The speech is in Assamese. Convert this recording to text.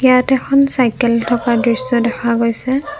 ইয়াত এখন চাইকেল থকাৰ দৃশ্য দেখা গৈছে।